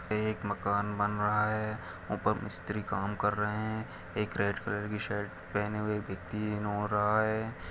एक मकान बन रहा है ऊपर मिस्त्री काम कर रहे है एक रेड कलर की शर्ट पहने हुए व्यक्ति